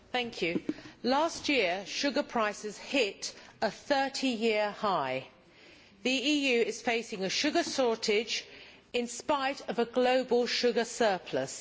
Mr President, last year sugar prices hit a 30 year high. The EU is facing a sugar shortage in spite of a global sugar surplus.